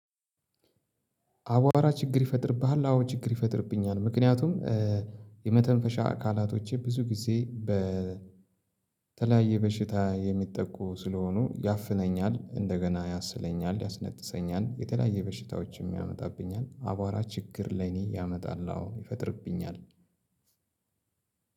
አቧራ ችግር ይፈጥርብሃል? አዎ ችግር ይፈጥርብኛል ምክንያቱም የመተንፈሻ አካላቶቼ ብዙ ጊዜ በተለያየ በሽታ የሚጠቁ ስለሆኑ ያፍነኛል እንደገና ያስለኛል ያስነጥሰኛል የተለያየ በሽታዎችም ያመጣብኛል አቧራ ችግር ላይ እኔ ያመጣል አዎ ይፈጥርብኛል